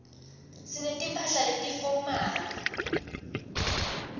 sinetimphahla letifomali